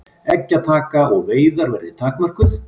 Eggjataka og veiðar verði takmörkuð